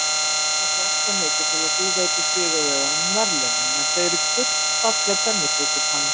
Okkur langar fjarska mikið til að þú veitir sigurvegaranum verðlaunin en þau eru gullfalleg pönnukökupanna.